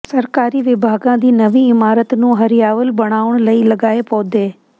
ਸਰਕਾਰੀ ਵਿਭਾਗਾਂ ਦੀ ਨਵੀਂ ਇਮਾਰਤ ਨੂੰ ਹਰਿਆਵਲ ਬਣਾਉਣ ਲਈ ਲਗਾਏ ਪੌਦੇ